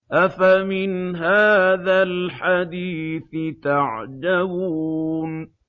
أَفَمِنْ هَٰذَا الْحَدِيثِ تَعْجَبُونَ